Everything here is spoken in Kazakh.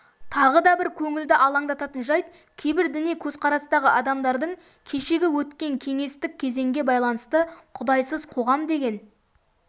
тағы да бір көңілді алаңдататын жайт кейбір діни көзқарастағы адамдардың кешегі өткен кеңестік кезеңге байланысты құдайсыз қоғам деген